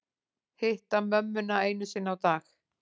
Hitta mömmuna einu sinni á dag